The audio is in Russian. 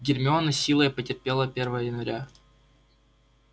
гермиона с силой потерпела первое января